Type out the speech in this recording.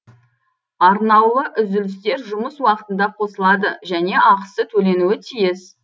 арнаулы үзілістер жұмыс уақытында қосылады және ақысы төленуі тиіс